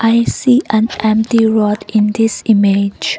i see an empty road in this image